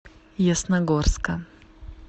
ясногорска